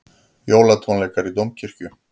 Jólatónleikar í Dómkirkju